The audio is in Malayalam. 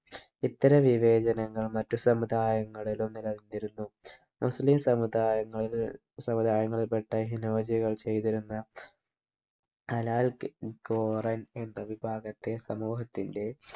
ഇത്തരം വിവേചനങ്ങൾ മറ്റു സമുദായങ്ങളിലും നില നിന്നിരുന്നു മുസ്ലിം സമുദായങ്ങള് സമുദായങ്ങളിൽ പെട്ട ഹിനോജികൾ ചെയ്തിരുന്ന ഹലാൽ കി ഖുറാൻ എന്ന വിഭാഗത്തെ സമൂഹത്തിന്റെ